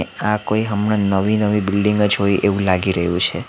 આ કોઈ હમણાં નવી-નવી બિલ્ડીંગ જ હોય એવું લાગી રહ્યું છે.